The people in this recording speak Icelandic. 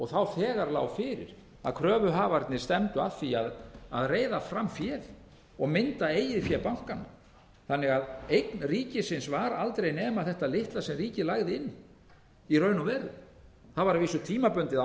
þá þegar lá fyrir að kröfuhafarnir stefndu að því að reiða fram féð og mynda eigið fé bankanna þannig að eign ríkisins var aldrei nema þetta litla sem ríkið lagði inn í raun og veru það var að vísu tímabundið